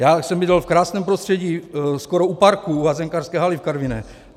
Já jsem bydlel v krásném prostředí skoro u parku u házenkářské haly v Karviné.